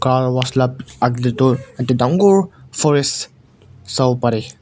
car wash la aage de toh ekta dangor forest sawo pare.